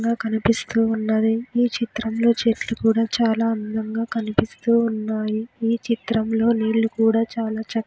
--గా కనిపిస్తూ ఉన్నది ఈ చిత్రంలో చెట్లు కూడా చాలా అందంగా కనిపిస్తూ ఉన్నాయి ఈ చిత్రంలో నీళ్లు కూడా చాలా చక్--